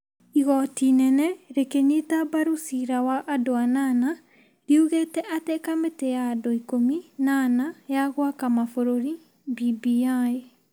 Igoti inene, rĩkĩnyita mbaru ciira wa andũ anana, riugĩte atĩ kamĩtĩ ya andũ ikũmi na ana ya gwaka mabururi (BBI),